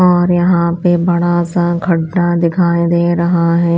और यहां पर बड़ा सा घंटा दिखाई दे रहा है।